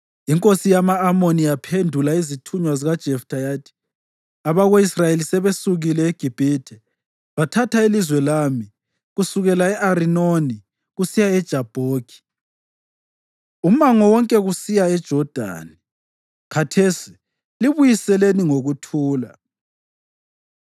Inkosi yama-Amoni yaphendula izithunywa zikaJeftha yathi, “Abako-Israyeli sebesukile eGibhithe bathatha ilizwe lami kusukela e-Arinoni kusiya eJabhoki, umango wonke kusiya eJodani. Khathesi libuyiseleni ngokuthula.”